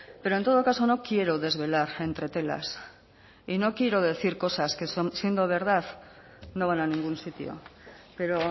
pero en todo caso no quiero desvelar entretelas y no quiero decir cosas que siendo verdad no van a ningún sitio pero